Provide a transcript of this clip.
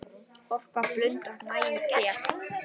Orka blundar næg í þér.